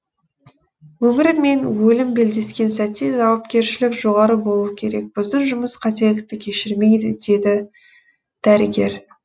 өмір мен өлім белдескен сәтте жауапкершілік жоғары болуы керек біздің жұмыс қателікті кешірмейді деді дәрігер